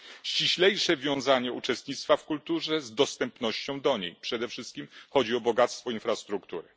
Ściślejsze wiązanie uczestnictwa w kulturze z dostępnością do niej przede wszystkim chodzi o bogactwo infrastruktury.